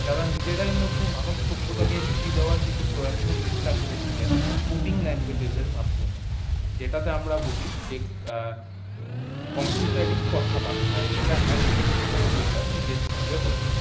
তারা নিজেরা মধ্যে মানবসভ্যতাকে মিটিয়ে দেয়ার প্রয়াত্ন চেষ্টা করেছিলেন coding language এর মাধ্যমে যেটা তে আমরা বুঝি যে কম্পিউটারই কথাবার্তা যেটা এক কম্পিউটার নিজের সঙ্গে বলে।